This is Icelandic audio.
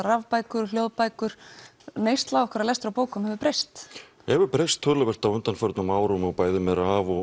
rafbækur hljóðbækur neysla okkar á lestri á bókum hefur breyst hún hefur breyst töluvert á undanförnum árum bæði með